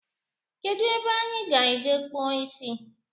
Kedụ ebe anyị ga-eje kpụọ isi